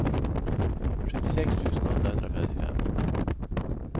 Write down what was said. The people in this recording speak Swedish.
sjuttiosex tusen åttahundrafemtiofem